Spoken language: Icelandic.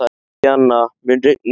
Indíana, mun rigna í dag?